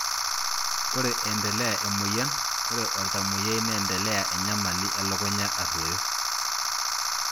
Ore entelea emoyian, ore oltamoyiai nendelea enyamali elukunya aruoyo.